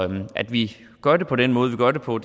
at vi gør det på den måde vi gør det på